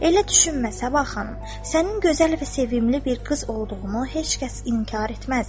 Elə düşünmə Səbah xanım, sənin gözəl və sevimli bir qız olduğunu heç kəs inkar etməz.